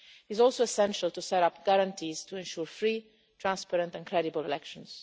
It is also essential to set up guarantees to ensure free, transparent and credible elections.